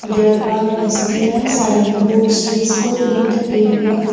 there are S_B_I sign boards visible in the area.